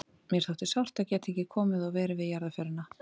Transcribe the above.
Mér þótti sárt að geta ekki komið og verið við jarðarförina.